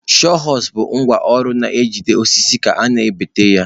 Sawhorsu bụ ngwá ọrụ na-ejide osisi ka ị na-egbutu ya.